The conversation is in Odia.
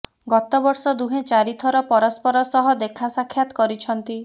ଗତ ବର୍ଷ ଦୁହେଁ ଚ଼ାରି ଥର ପରସ୍ପର ସହ ଦେଖା ସାକ୍ଷାତ କରିଛନ୍ତି